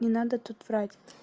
не надо тут врать